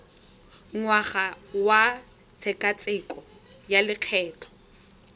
ngwaga wa tshekatsheko ya lokgetho